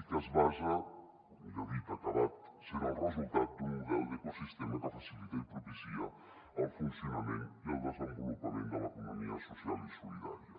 i que es basa o millor dit ha acabat sent el resultat d’un model d’ecosistema que facilita i propicia el funcionament i el desenvolupament de l’economia social i solidària